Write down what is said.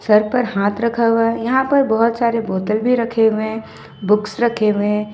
Sir पर हाथ रखा हुआ है यहां पर बहुत सारे बोतल भी रखे हुए हैं बुक्स रखे हुए।